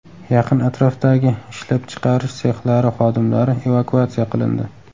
Yaqin atrofdagi ishlab chiqarish sexlari xodimlari evakuatsiya qilindi.